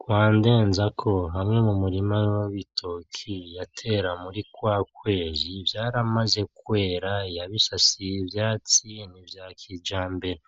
Kwa NDENZAKO hamwe mumurima w'ibitoke yatera muri kwa kwezi vyaramaze kwera yabisasiye ivyatsi nivya kijambere,